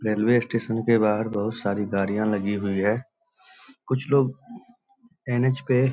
Railway station के बाहर बहुत सारी गाड़िया लगी हुए है। कुछ लोग एन.एच. पे --